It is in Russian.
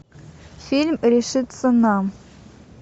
фильм решиться на